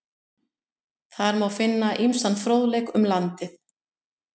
Þar má finna ýmsan fróðleik um landið.